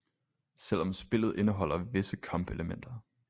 Selv om spillet indeholder visse kampelementer